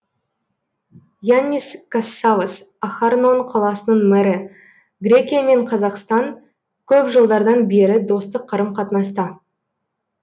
яннис кассавос ахарнон қаласының мэрі грекия мен қазақстан көп жылдардан бері достық қарым қатынаста